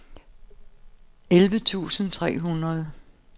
elleve tusind tre hundrede